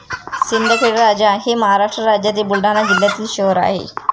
सिंदखेड राजा हे महाराष्ट्र राज्यातील बुलढाणा जिल्ह्यातील शहर आहे